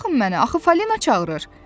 Buraxın məni, axı Falina çağırır!